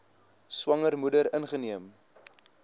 swanger moeder ingeneem